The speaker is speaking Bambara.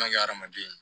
An ka hadamaden